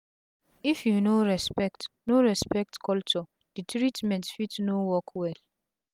if u no respect no respect culture d treatment fit no work well